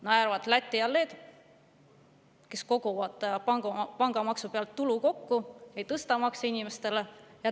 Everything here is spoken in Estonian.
Naeravad Läti ja Leedu, kes koguvad pangamaksu pealt tulu kokku ega tõsta inimestele makse.